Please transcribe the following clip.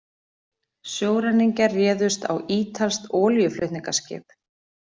Sjóræningjar réðust á ítalskt olíuflutningaskip